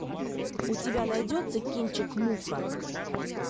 у тебя найдется кинчик муха